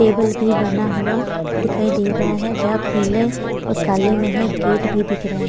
Table भी बना हुआ दिखाई दे रहा है जहां पीले और काले में है गेट भी दिख रहा है।